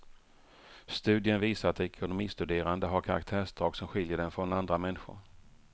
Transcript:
Studien visar att ekonomistuderande har karaktärsdrag som skiljer dem från andra människor.